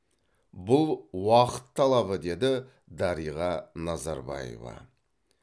бұл уақыт талабы деді дариға назарбаева